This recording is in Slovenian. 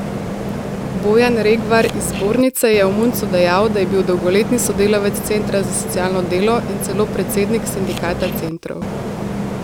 Bojan Regvar iz zbornice je o Muncu dejal, da je bil dolgoletni sodelavec centra za socialno delo in celo predsednik sindikata centrov.